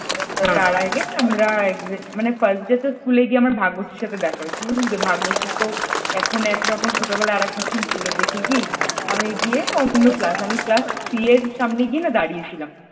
তার আগে আমরা first day তো school এ গিয়ে আমার ভাগ্যশ্রীর সাথে দেখা হয়েছিল তুই বুঝলি তো ভাগ্যশ্রী তো এখন একরকম ছোটবেলায় আরেক রকম ছিল দেখিকি আমি গিয়ে অন্য class class three এর সামনে না গিয়ে দাঁড়িয়ে ছিলাম ।